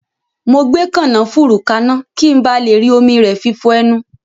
Mo gbé kànáfùrú kaná, ki n ba le rí omi rẹ fi fọ ẹnu